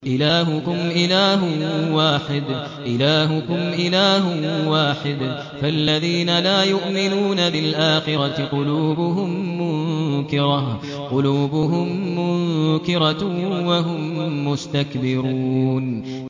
إِلَٰهُكُمْ إِلَٰهٌ وَاحِدٌ ۚ فَالَّذِينَ لَا يُؤْمِنُونَ بِالْآخِرَةِ قُلُوبُهُم مُّنكِرَةٌ وَهُم مُّسْتَكْبِرُونَ